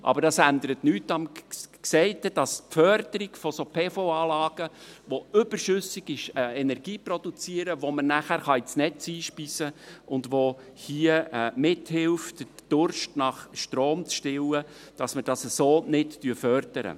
Aber dies ändert nichts am Gesagten, dass wir auf diese Weise solche Photovoltaik-Anlagen (PV-Anlagen), die überschüssige Energie produzieren, welche man dann ins Netz einspeisen kann, was mithilft, den Durst nach Strom zu stillen, nicht fördern.